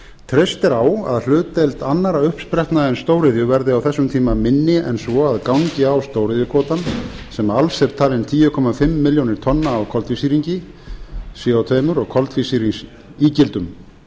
treyst er á að hlutdeild annarra uppsprettna en stóriðju verði á þessum tíma minni en svo að gangi á stóriðjukvótann sem alls er talinn tíu komma fimm milljónir tonna af koltvísýringi co tvö og koltvísýringsígildum